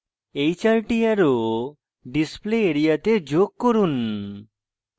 এই 4 the arrow display area তে যোগ করুন